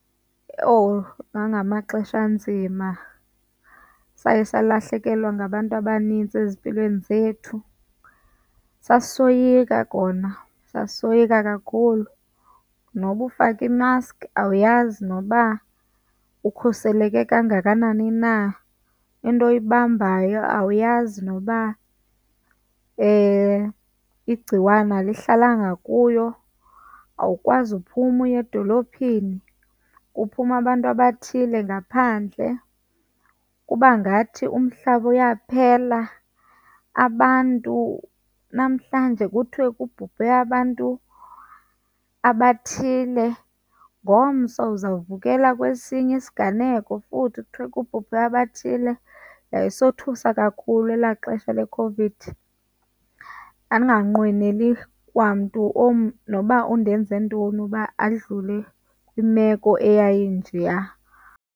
Owu! Ngangamaxesha anzima. Saye salahlekelwa ngabantu abanintsi ezimpilweni zethu. Sasisoyika kona, sisoyika kakhulu. Noba ufake imaski awuyazi noba ukhuseleke kangakanani na, into oyibambayo awuyazi noba igciwane alihlalanga kuyo. Awukwazi uphuma uye edolophini, kuphuma abantu abathile ngaphandle. Kuba ngathi umhlaba uyaphela, abantu namhlanje kuthiwe kubhubhe abantu abathile, ngomso uzawuvukela kwesinye isiganeko futhi kuthiwe kubhubhe abathile. Yayisothusa kakhulu ela xesha leCOVID. ndandiganqweneli kwamntu noba undenze ntoni uba adlule kwimeko eyayinjeya.